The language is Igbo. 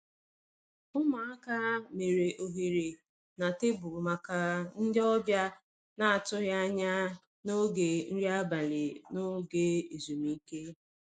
Ụmụaka mere ohere na tebụlu maka ndị ọbịa na-atụghị anya n'oge nri abalị n'oge ezumike.